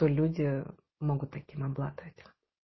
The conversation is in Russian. люди могут таким обладать